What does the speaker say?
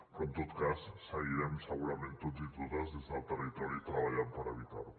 però en tot cas seguirem segurament tots i totes des del territori treballant per evitar ho